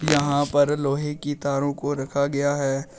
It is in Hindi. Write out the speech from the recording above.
यहां पर लोहे की तारों को रखा गया है।